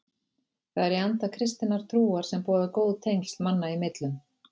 Það er í anda kristinnar trúar sem boðar góð tengsl manna í millum.